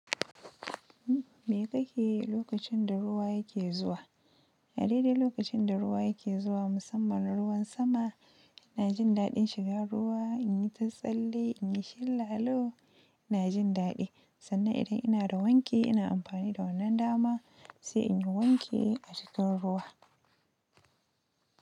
Me ka ke yi lokacin da ruwa yake zuwa? A daidai lokacin da ruwa yake zuwa, musamman ruwan sama, ina jin daɗin shiga ruwa, in yi ta tsalle, in yi shan lalo, ina jin daɗi. Sannan idan ina da wanki, ina amfani da wannan dama sai in yi wanki a cikin ruwa.